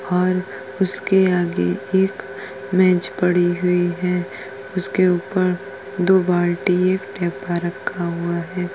और उसके आगे एक मेज पड़ी हुई है। उसके ऊपर दो बाल्टी एक डब्बा रखा हुआ है।